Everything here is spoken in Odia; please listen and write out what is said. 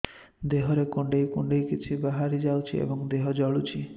ଦେହରେ କୁଣ୍ଡେଇ କୁଣ୍ଡେଇ କିଛି ବାହାରି ଯାଉଛି ଏବଂ ଦେହ ଜଳୁଛି